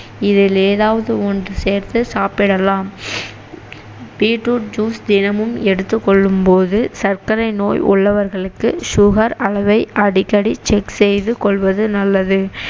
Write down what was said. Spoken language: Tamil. இதில் ஏதவது ஒன்று சேர்த்து சாப்பிடலாம் beet root juice தினமும் எடுத்துக்கொள்ளும்போது சர்க்கரை நோய் உள்ளவர்களுக்கு sugar அளவை அடிக்கடி check செய்துகொள்வது நல்லது